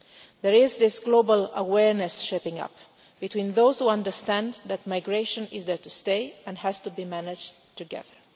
There is this global awareness shaping up between those who understand that migration is there to stay and has to be managed together.